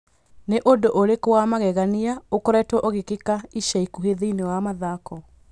Nĩ ũndũ ũrĩkũ wa magegania ũkoretwo ũgĩkĩka ica ikuhĩ thĩinĩ wa mathako?